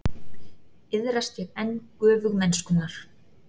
Iðrast ég enn göfugmennskunnar.